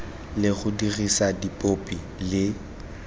le go dirisa dipopi le